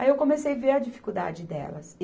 Aí eu comecei ver a dificuldade delas.